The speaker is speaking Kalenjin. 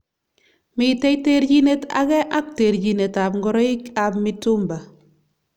Mitei terjinet age ak terjinet ab ngoroik ab mitumba.